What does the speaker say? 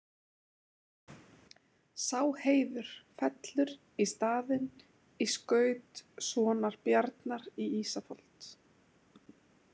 Sá heiður fellur í staðinn í skaut sonar Bjarnar í Ísafold.